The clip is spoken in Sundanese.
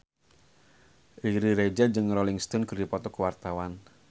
Riri Reza jeung Rolling Stone keur dipoto ku wartawan